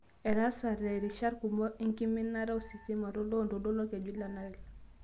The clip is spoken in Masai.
Etaasate rishat kumok enkiminata ositima toloontoluo lolkeju le Nile